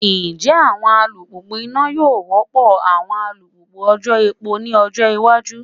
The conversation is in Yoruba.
Njẹ awọn alupupu ina yoo rọpo awọn alupupu ojò epo ni ọjọ iwaju?